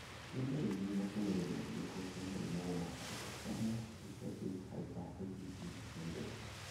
Nĩ ndariri na cionereria irĩkũ cia mũrimũ wa Autosomal recessive hyper IgE syndrome?